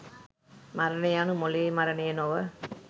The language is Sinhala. මරණය යනු මොළයේ මරණය නොව